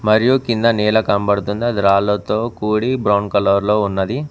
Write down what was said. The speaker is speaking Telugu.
మరియు కింద నేల కనపడుతుంది అది రాళ్లతో కూడి బ్రౌన్ కలర్ లో ఉన్నది.